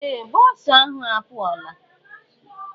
Ee! Bọọsụ ahụ a pụọla.